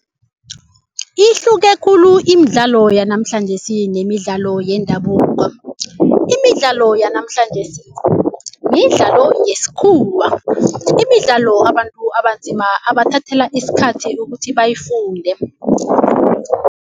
Ihluke khulu imidlalo yanamhlanjesi nemidlalo yendabuko. Imidlalo yanamhlanjesi midlalo yesikhuwa. Imidlalo abantu abanzima abathathela isikhathi ukuthi bayifunde.